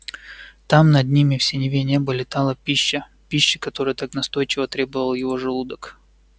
там над ним в синеве неба летала пища пища которой так настойчиво требовал его желудок